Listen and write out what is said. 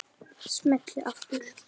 Smelli aftur.